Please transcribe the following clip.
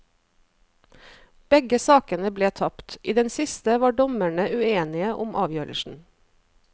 Begge sakene ble tapt, i den siste var dommerne uenige om avgjørelsen.